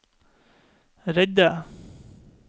redde